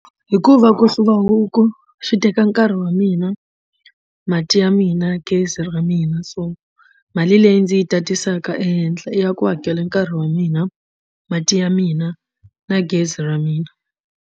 Hikuva ku hluva huku swi teka nkarhi wa mina mati ya mina gezi ra mina so mali leyi ndzi yi tatisaka ehenhla i ya ku hakela nkarhi wa mina mati ya mina na gezi ra mina.